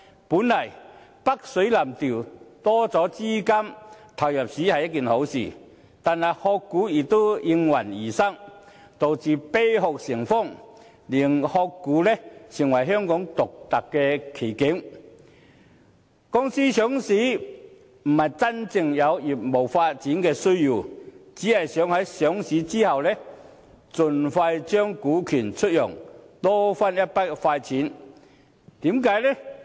本來北水南調，增加資金入市是一件好事，但"殼股"卻也應運而生，導致"啤殼"成風，令"殼股"成為香港獨特的奇景：公司上市不是因為真正有業務發展的需要，只是想在上市後盡快將股權出讓，多賺一筆快錢。